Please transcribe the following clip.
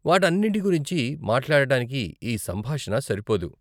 వాటన్నింటి గురించి మాట్లాడటానికి ఈ సంభాషణ సరిపోదు.